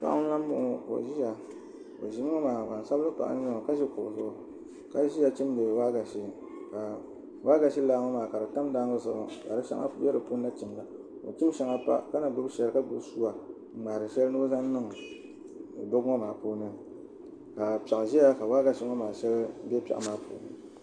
Paɣi n lan bɔŋɔ ka o ʒiya gban sabili paɣa n nyɛ ɔ o ʒila kuɣu zuɣu n chimdi waagashɛ ka waagashe laaŋɔ maa tam daangi zuɣu ka di shɛŋa bɛ dipuuni n chimda ka o chim shɛŋa pa ka na gbubi shɛŋa chimda ka o chim shɛŋa pa ka gbubi shɛli ka gbubi sua n ŋmahiri shɛli noo zan niŋ duɣu ŋɔ maa puuni ka piɛɣu ʒɛya ka waagashɛ maa shɛili bɛ piɛɣu ŋɔ maa puuni